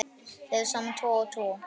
Leggðu saman tvo og tvo.